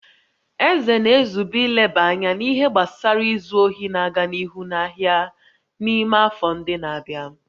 Eze na-ezube ileba anya n'ihe gbasara izu ohi na-aga n'ihu n'ahịa n'ime afọ ndị na-abịa